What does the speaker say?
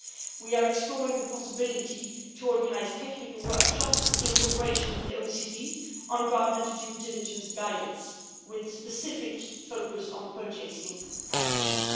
We are exploring the possibility to organise technical workshops in cooperation with the OECD on garment due diligence guidance, with specific focus on purchasing practices.